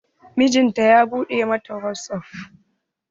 Mijinata ya buɗe ma ta wasap.